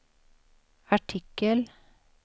artikel